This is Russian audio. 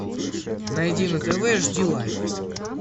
найди на тв жди лайф